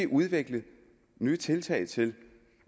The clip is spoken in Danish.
udvikle nye tiltag til